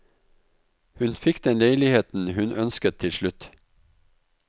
Hun fikk den leiligheten hun ønsket til slutt.